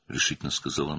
qətiyyətlə dedi.